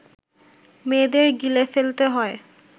মেয়েদের গিলে ফেলতে হয়